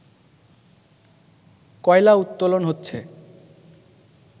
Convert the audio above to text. কয়লা উত্তোলন হচ্ছে